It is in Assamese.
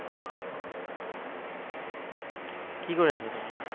কি কৰি আছা, তুমি?